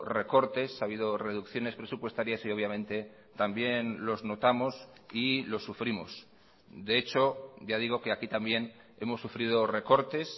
recortes ha habido reducciones presupuestarias y obviamente también los notamos y lo sufrimos de hecho ya digo que aquí también hemos sufrido recortes